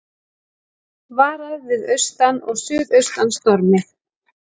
Varað við austan og suðaustan stormi